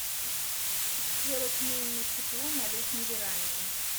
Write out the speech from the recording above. сделать менее тепло на летней веранде